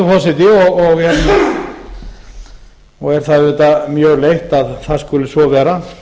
forseti og er það auðvitað mjög leitt að það skuli svo vera